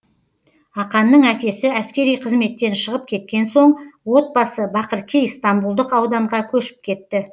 аканның әкесі әскери қызметтен шығып кеткен соң отбасы бақыркей стамбулдық ауданға көшіп кетті